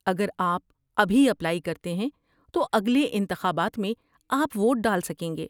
اگر آپ ابھی اپلائی کرتے ہیں تو اگلے انتخابات میں آپ ووٹ ڈال سکیں گے۔